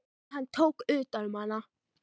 Og hann tók utan um hana.